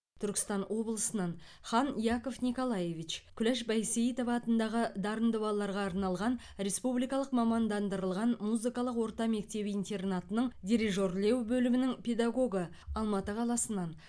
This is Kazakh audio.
түркістан облысынан хан яков николаевич күләш байсейітова атындағы дарынды балаларға арналған республикалық мамандандырылған музыкалық орта мектеп интернатының дирижерлеу бөлімінің педагогы алматы қаласынан